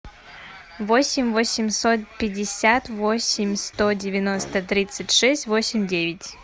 восемь восемьсот пятьдесят восемь сто девяносто тридцать шесть восемь девять